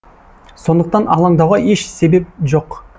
сондықтан алаңдауға еш себеп жоқ